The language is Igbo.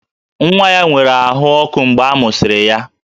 Nwa ya nwere ahụ ọkụ mgbe a mụsịrị ya